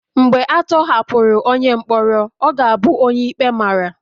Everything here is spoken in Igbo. Mgbe a tọhapụrụ onye mkpọrọ, ọ ga-abụ onye ikpe mara